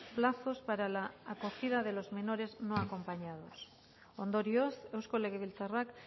plazos para la acogida de los menores no acompañados ondorioz eusko legebiltzarrak